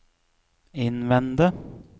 innvende